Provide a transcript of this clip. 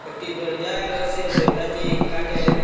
একটি দরজা রয়েসে দরজাটি কাটের ।